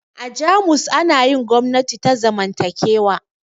A jamus ana yin gwamnati ta zamantakewa